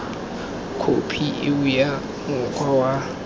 khophi eo ya mokgwa wa